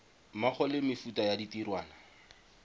mmogo le mefuta ya ditirwana